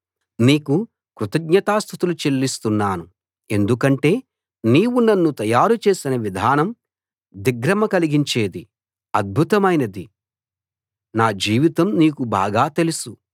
నీకు కృతజ్ఞతాస్తుతులు చెల్లిస్తున్నాను ఎందుకంటే నీవు నన్ను తయారు చేసిన విధానం దిగ్భ్రమ కలిగించేది అద్భుతమైనది నా జీవితం నీకు బాగా తెలుసు